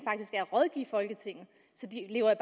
rådgive folketinget så de lever